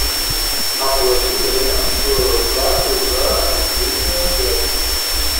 оплатить абонентскую плату за мобильную связь